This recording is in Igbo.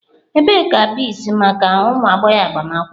Ebee ka beads maka ụmụ agbọghọ agbamakwụkwọ?